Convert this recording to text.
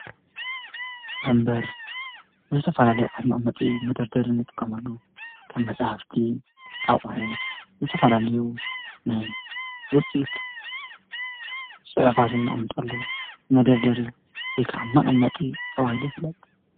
ንበር ዝተፋላልዩ ዓት መዖሙጢ መደርደር ንጥቀመሉ ከብ መጻሓፍቲ ኣቝዐት ዝተፈላልዩ ናይ ውፂት ጽሕፋዝናቕምጠሉ መደርደሪ ሪከዓ መቐመጢ ተዋሂለ ይፍለጥ።